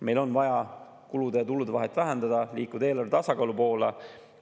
Meil on vaja kulude ja tulude vahet vähendada, liikuda eelarve tasakaalu poole.